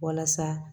Walasa